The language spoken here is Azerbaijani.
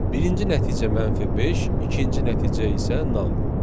Birinci nəticə -5, ikinci nəticə isə nan.